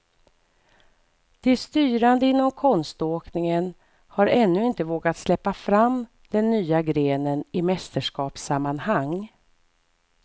De styrande inom konståkningen har ännu inte vågat släppa fram den nya grenen i mästerskapssammanhang.